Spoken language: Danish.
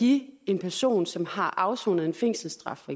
give en person som har afsonet en fængselsstraf